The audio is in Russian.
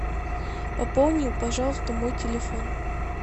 пополни пожалуйста мой телефон